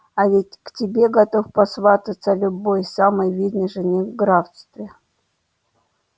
а ведь к тебе готов посвататься любой самый видный жених в графстве